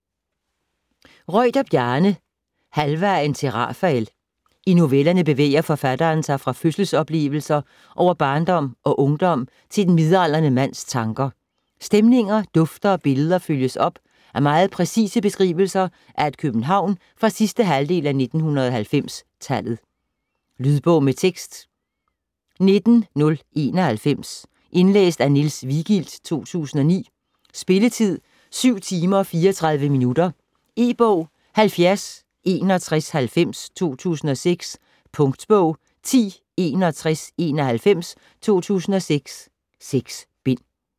Reuter, Bjarne: Halvvejen til Rafael I novellerne bevæger forfatteren sig fra fødselsoplevelser over barndom og ungdom til den midaldrende mands tanker. Stemninger, dufte og billeder følges op af meget præcise beskrivelser af et København fra sidste halvdel af 1900-tallet. Lydbog med tekst 19091 Indlæst af Niels Vigild, 2009. Spilletid: 7 timer, 34 minutter. E-bog 706190 2006. Punktbog 106191 2006. 6 bind.